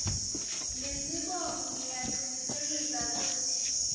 nesibongo ngiyacinisekisa kutsi